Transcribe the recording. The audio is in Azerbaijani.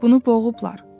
Bunu boğublar.